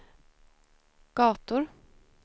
gator